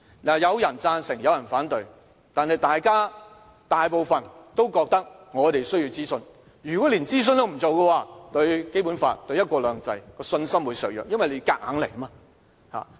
有人贊成，有人反對，但大部分都覺得我們需要諮詢，如果連諮詢也不做，會削弱對《基本法》和"一國兩制"的信心，因為政府是硬來。